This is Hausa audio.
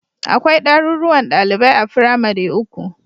Akwai ɗaruruwan ɗalibai a firamare uku